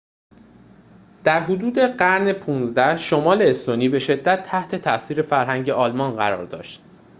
در حدود قرن ۱۵ شمال استونی به شدت تحت تأثیر فرهنگ آلمان قرار داشت